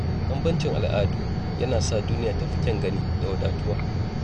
Bambancin al’adu yana sa duniya ta fi kyan gani da wadatuwa.